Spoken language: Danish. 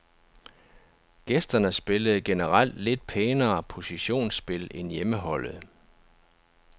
Gæsterne spillede generelt lidt pænere positionsspil end hjemmeholdet.